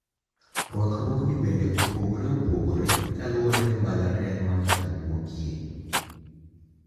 Rwakruogni bende opogore opogore kaluwore gi mbalariany ma ng`ato wuokie.